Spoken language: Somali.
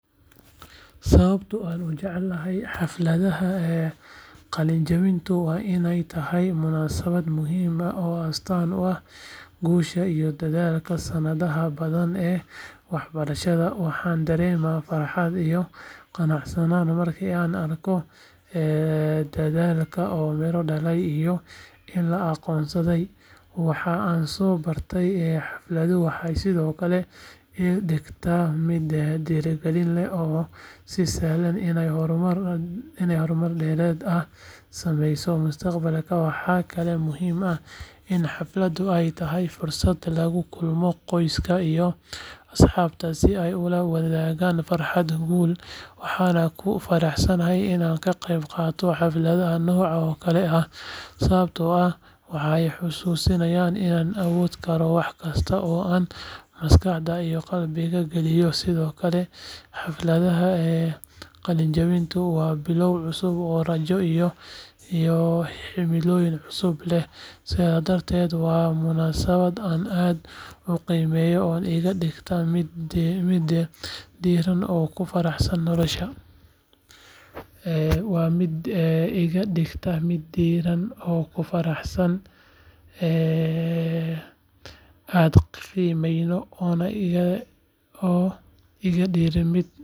Sababta aan u jeclahay xafladda qalinjabinta waa inay tahay munaasabad muhim ah oo astaan u ah guusha iyo dadaalka sanadaha badan ee waxbarasho waxaan dareemaa farxad iyo qanacsanaan markii aan arko dadaalkayga oo miro dhalay iyo in la aqoonsaday waxa aan soo bartay xafladdu waxay sidoo kale iga dhigtaa mid dhiirigelin leh oo ii sahasha inaan horumar dheeraad ah sameeyo mustaqbalka waxaa kaloo muhiim ah in xafladdu ay tahay fursad lagu kulmo qoyska iyo asxaabta si ay ula wadaagaan farxadda guusha waxaana ku faraxsanahay inaan ka qayb qaato xafladaha noocan oo kale ah sababtoo ah waxay xusuusinayaan inaan awoodi karo wax kasta oo aan maskaxda iyo qalbiga geliyo sidoo kale xafladda qalinjabintu waa bilow cusub oo rajo iyo himilooyin cusub leh sidaa darteed waa munaasabad aan aad u qiimeeyo oo iga dhigta mid dhiirran oo ku faraxsan nolosha.